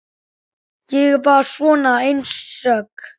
Ég er bara svona einsog.